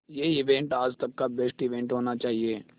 ये इवेंट आज तक का बेस्ट इवेंट होना चाहिए